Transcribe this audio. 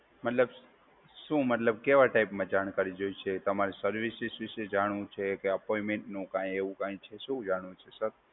મતલબ, શું મતલબ કેવા ટાઈપમાં જાણકારી જોઈએ છે? તમારે સર્વિસીસ વિશે જાણવું છે? કે અપોઇન્ટમેન્ટ નું કાઇ એવું કઈ છે. શું જાણવું છે, સર?